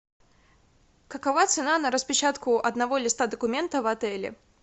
какова цена на распечатку одного листа документа в отеле